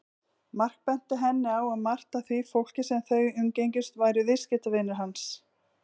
Mark benti henni á að margt af því fólki sem þau umgengjust væru viðskiptavinir hans.